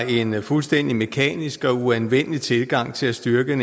en fuldstændig mekanisk og uanvendelig tilgang til at styrke